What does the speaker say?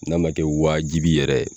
N'a ma kɛ waajibi yɛrɛ.